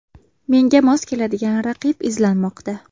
Menga mos keladigan raqib izlanmoqda.